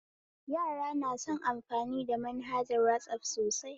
Yara na son amfani da manhajar wasaf sosai